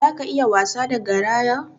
Zaka iya wasa da garaya?